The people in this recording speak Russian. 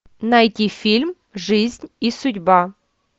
найти фильм жизнь и судьба